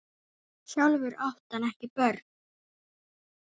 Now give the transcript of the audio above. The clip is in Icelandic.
Sjálfur átti hann ekki börn.